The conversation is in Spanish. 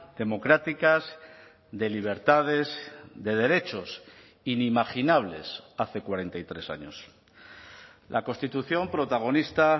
democráticas de libertades de derechos inimaginables hace cuarenta y tres años la constitución protagonista